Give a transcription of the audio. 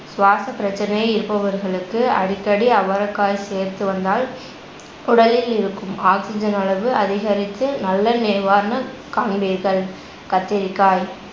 சுவாசப்பிரச்சனை இருப்பவர்களுக்கு அடிக்கடி அவரைக்காய் சேர்த்து வந்தால் உடலில் இருக்கும் oxygen அளவு அதிகரித்து நல்ல நிவாரணக் காண்பீர்கள். கத்திரிக்காய்